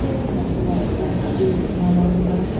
Gəzər səndə dərdli, nalalı dağlar.